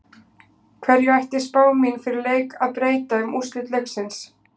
Hverju ætti spá mín fyrir leik að breyta um úrslit leiksins?